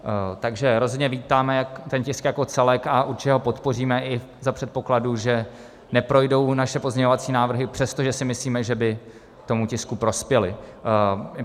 Takže rozhodně vítáme ten tisk jako celek a určitě ho podpoříme i za předpokladu, že neprojdou naše pozměňovací návrhy, přestože si myslíme, že by tomu tisku prospěly.